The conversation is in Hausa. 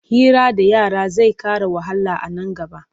Hira da yara zai ƙara wahala a nan gaba.